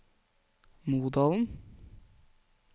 Modalen